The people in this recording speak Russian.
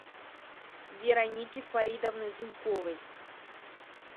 вероники фаридовны зуйковой